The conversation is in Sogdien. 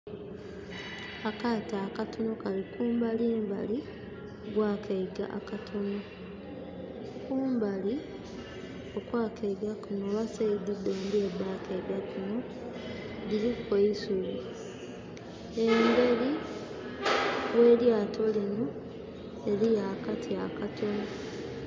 Akaato akatono kali kumbalimbali gw'akaiga akatonho. Kumbali okwakaiga kano oba side dhombi edha kaiga kano dhiliku eisubi. Embeli gh' elyaato lino eliyo akati akatono.